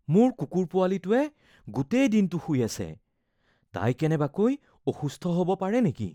মোৰ কুকুৰ পোৱালিটোৱে গোটেই দিনটো শুই আছে। তাই কেনেবাকৈ অসুস্থ হ’ব পাৰে নেকি?